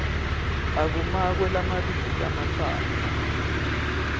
akumakwe lamabili lamatsatfu